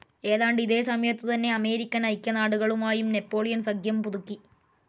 ഏതാണ്ട് ഇതേ സമയത്തുതന്നെ അമേരിക്കൻ ഐക്യനാടുകളുമായും നാപ്പോളിയൻ സഖ്യം പുതുക്കി.